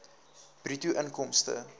bruto inkomste